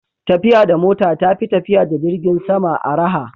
tafiya da mota ta fi tafiya da jirgin sama araha